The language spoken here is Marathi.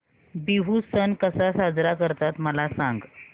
बिहू सण कसा साजरा करतात मला सांग